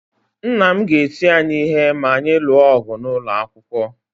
Nna m ga-eti anyị ihe ma anyị lụọ ọgụ n’ụlọ akwụkwọ.